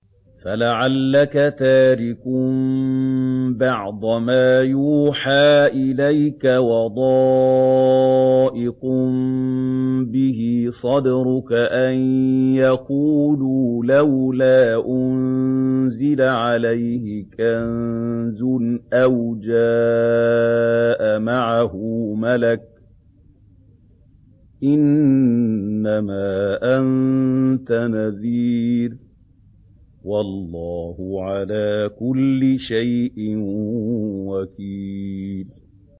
فَلَعَلَّكَ تَارِكٌ بَعْضَ مَا يُوحَىٰ إِلَيْكَ وَضَائِقٌ بِهِ صَدْرُكَ أَن يَقُولُوا لَوْلَا أُنزِلَ عَلَيْهِ كَنزٌ أَوْ جَاءَ مَعَهُ مَلَكٌ ۚ إِنَّمَا أَنتَ نَذِيرٌ ۚ وَاللَّهُ عَلَىٰ كُلِّ شَيْءٍ وَكِيلٌ